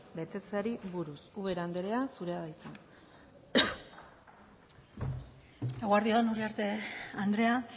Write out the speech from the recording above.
betetzeari buruz ubera andrea zurea da hitza eguerdi on uriarte andrea